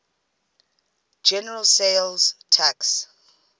general sales tax